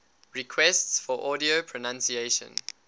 requests for audio pronunciation